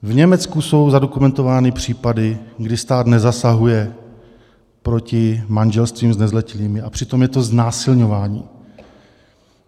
V Německu jsou zadokumentovány případy, kdy stát nezasahuje proti manželstvím s nezletilými, a přitom je to znásilňování.